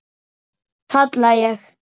kalla ég.